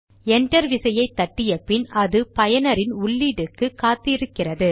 enter விசையை தட்டிய பின் அது பயனரின் உள்ளீட்டுக்கு காத்து இருக்கிறது